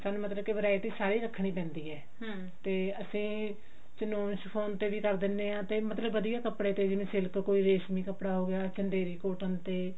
ਸਾਨੂੰ ਮਤਲਬ ਕਿ varieties ਸਾਰੀਆਂ ਰੱਖਣੀ ਪੈਂਦੀ ਹੈ ਤੇ ਅਸੀਂ ਤੇ ਵੀ ਕਰ ਦਿੰਨੇ ਆਂ ਤੇ ਵਧੀਆ ਕੱਪੜੇ ਤੇ ਜਿਵੇਂ silk ਕੋਈ ਰੇਸ਼ਮੀ ਕੱਪੜਾ ਹੋਗਿਆ